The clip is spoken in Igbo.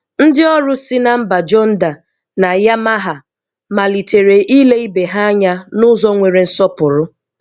Ndị ọrụ si na mba Jonda na Yamaha, malitere ile ibe ha anya n'ụzọ nwere nsọpụrụ.